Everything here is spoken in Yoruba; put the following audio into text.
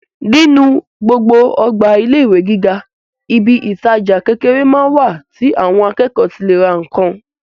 Nínú gbogbo ọgbà ilé ìwé gíga, ibi ìtajà kékeré máa ń wà tí àwọn akẹ́kọ̀ọ́ ti lè ra nǹkan.